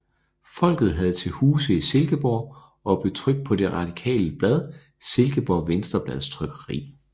Folket havde til huse i Silkeborg og blev trykt på det radikale blad Silkeborg Venstreblads trykkeri